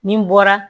Nin bɔra